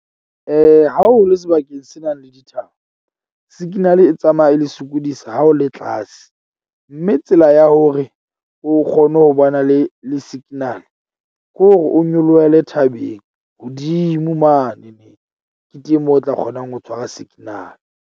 Ha o le sebakeng se na leng dithaba. Signal e tsamaya e le sokodisa ha o le tlase mme tsela ya hore o kgone ho ba na le le signal kore o nyolohele thabeng hodimo mane. Ke teng moo o tla kgonang ho tshwara signal.